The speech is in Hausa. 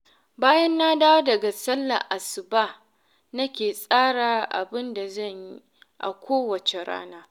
Bayan na dawo daga sallar Asuba nake tsara abin da zan yi a kowace rana